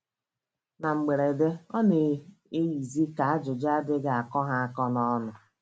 Na mberede, ọ na - eyizi ka ajụjụ adịghị akọ ha akọ n’ọnụ.